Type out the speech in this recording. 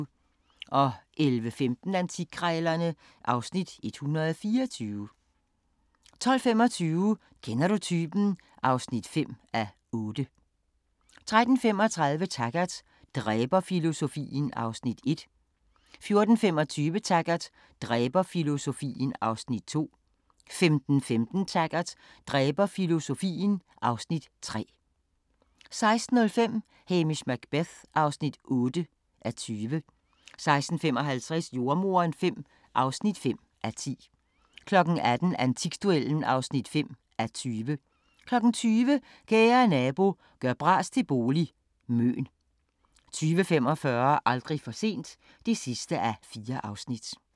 11:15: Antikkrejlerne (Afs. 124) 12:25: Kender du typen? (5:8) 13:35: Taggart: Dræberfilosofien (Afs. 1) 14:25: Taggart: Dræberfilosofien (Afs. 2) 15:15: Taggart: Dræberfilosofien (Afs. 3) 16:05: Hamish Macbeth (8:20) 16:55: Jordemoderen V (5:10) 18:00: Antikduellen (5:20) 20:00: Kære nabo – gør bras til bolig – Møn 20:45: Aldrig for sent (4:4)